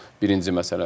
Birinci məsələ.